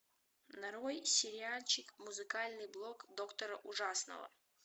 нарой сериальчик музыкальный блог доктора ужасного